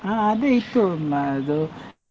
ಹಾ ಅದೇ ಇತ್ತು ಮ~ ಅದು.